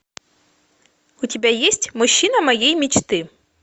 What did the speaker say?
у тебя есть мужчина моей мечты